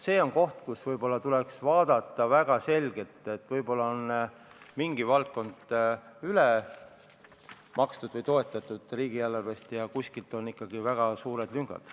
See on koht, mida tuleks vaadata, sest võib-olla on mingi valdkond riigieelarvest üle makstud või üle toetatud, aga kuskil on ikkagi väga suured lüngad.